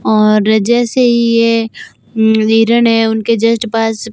और जैसे ही ये वीरण है उनके जस्ट पास--